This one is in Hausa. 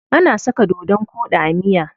Ana saka dodon koɗi a miya.